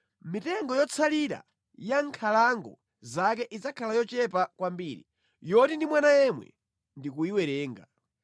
Mitengo yotsalira ya mʼnkhalango zake idzakhala yochepa kwambiri, yoti ndi mwana yemwe ndi kuyiwerenga.